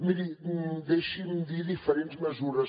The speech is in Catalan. miri deixi’m dir diferents mesures